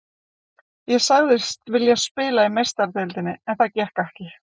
Ég sagðist vilja spila í Meistaradeildinni en það gekk ekki.